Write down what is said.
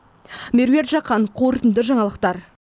меруерт жақан қорытынды жаңалықтар